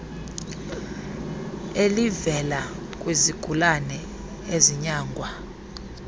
elivela kwizigulane ezinyangwa